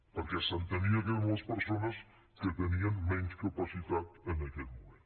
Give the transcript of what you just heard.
perquè s’entenia que eren les persones que tenien menys capacitat en aquest moment